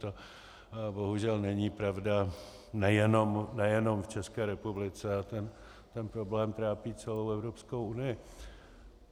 To bohužel není pravda nejenom v České republice a ten problém trápí celou Evropskou unii.